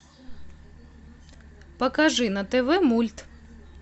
покажи на тв мульт